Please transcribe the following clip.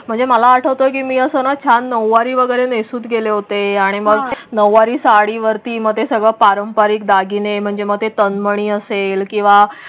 म्हणजे आठवतो की मी असं छान नऊवारी वगैरे नेसून गेले होते आणि मग नऊवारी साडीवरती मग ते सगळं पारंपारिक दागिने म्हणजे मग ते तन्मणी असेल किंवा.